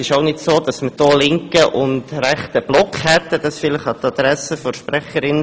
Es ist auch nicht so, dass wir einen linken und einen rechten Block hätten.